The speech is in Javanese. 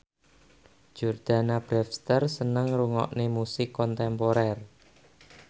Jordana Brewster seneng ngrungokne musik kontemporer